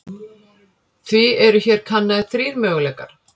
Því eru hér kannaðir þrír möguleikar.